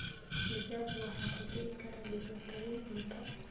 Digaagga waxaa ku dhici kara dhibaatooyin cunto.